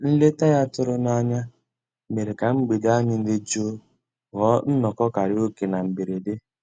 Nlétà ya tụ̀rù n'ányá mèrè kà mgbede ànyị́ dị́ jụ́ụ́ ghọ́ọ́ nnọ́kọ́ kàráòké na mbèredè.